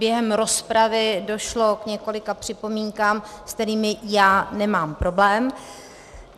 Během rozpravy došlo k několika připomínkám, se kterými já nemám problém.